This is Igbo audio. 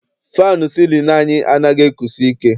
Faanụ sịlịnụ anyị anaghị ekusi ike.